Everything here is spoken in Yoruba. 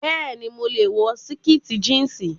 Bẹẹni, mo lè wọ síkìtì jíǹsì